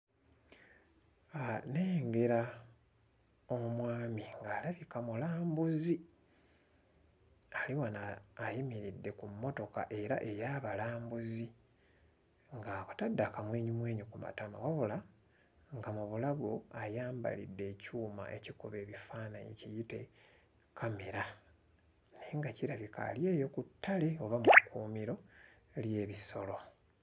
Uh nnengera omwami ng'alabika mulambuzi ali wano ayimiridde ku mmotoka era ey'abalambuzi ng'abatadde akamwenyumwenyu ku matama wabula nga mu bulago ayambalidde ekyuma ekikuba ebifaananyi kiyite kkamera naye nga kirabika ali eyo ku ttale oba mu kkuumiro ly'ebisolo.